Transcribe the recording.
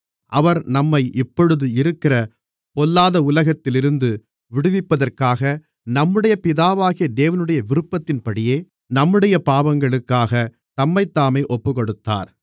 அவர் நம்மை இப்பொழுது இருக்கிற பொல்லாத உலகத்திலிருந்து விடுவிப்பதற்காக நம்முடைய பிதாவாகிய தேவனுடைய விருப்பத்தின்படியே நம்முடைய பாவங்களுக்காகத் தம்மைத்தாமே ஒப்புக்கொடுத்தார்